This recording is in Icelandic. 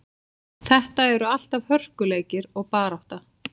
Þetta eru alltaf hörkuleikir og barátta.